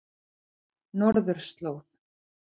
Norðurslóð